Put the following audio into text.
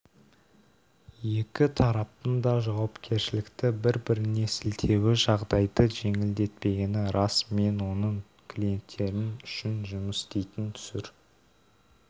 екі тараптың да жауапкершілікті бір-біріне сілтеуі жағдайды жеңілдетпегені рас мен өз клиенттерім үшін жұмыс істейтін сұр